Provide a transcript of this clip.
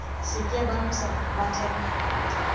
sitye bemisa bathenga